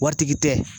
Waritigi tɛ